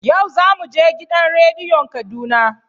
Yau za mu je gidan radiyon Kaduna.